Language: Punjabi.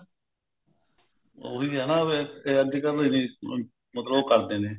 ਉਹੀ ਆ ਨਾ ਕੀ ਅੱਜਕਲ ਮਤਲਬ ਉਹ ਕਰਦੇ ਨੇ